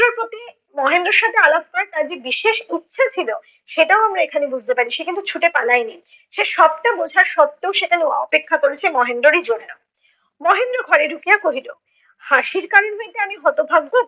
মহেন্দ্রের সাথে আলাপ করার তার যে বিশেষ ইচ্ছে ছিল তা এখানে বুঝতে পারি। সে কিন্তু ছুটে পালায়নি। সে সবটা বোঝা সত্ত্বেও সে অপেক্ষা করেছে মহেন্দ্রেরি জন্য। মহেন্দ্র ঘরে ঢুকিয়া কহিল হাসির কারণ হইতে আমি হতভাগ্য